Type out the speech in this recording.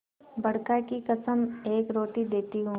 बड़का की कसम एक रोटी देती हूँ